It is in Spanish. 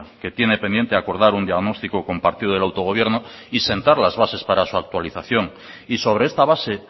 que tiene pendiente acordar un diagnóstico compartido del autogobierno y sentar las bases para su actualización y sobre esta base